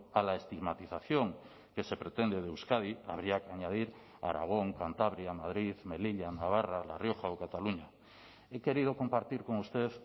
a la estigmatización que se pretende de euskadi habría que añadir aragón cantabria madrid melilla navarra la rioja o cataluña he querido compartir con usted